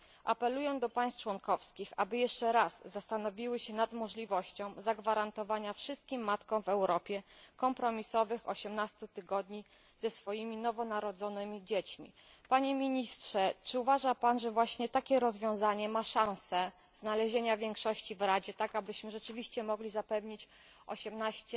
Apeluję do państw członkowskich, aby jeszcze raz zastanowiły się nad możliwością zagwarantowania wszystkim matkom w Europie kompromisowych 18 tygodni ze swoimi nowonarodzonymi dziećmi. Panie Ministrze, czy uważa Pan, że właśnie takie rozwiązanie ma szansę znalezienia większości w Radzie, tak abyśmy rzeczywiście mogli zapewnić 18